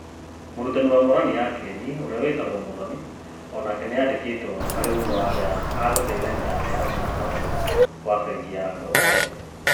Mũrutani wa Morani ya Kĩeni ũrĩa wĩtagwo Mũthoni onake nĩandikitwo arĩ ũmwe wa arĩa agũteithania me hamwe na Kamau wa bengi ya Andũ Othe.